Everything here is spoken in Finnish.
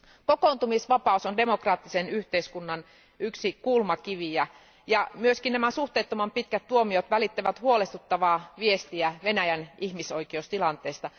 Kokoontumisvapaus on demokraattisen yhteiskunnan yksi kulmakiviä ja nämä suhteettoman pitkät tuomiot välittävät huolestuttavaa viestiä Venäjän ihmisoikeustilanteesta.